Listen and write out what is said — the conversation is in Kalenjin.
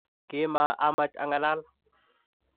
kima amach angalaal.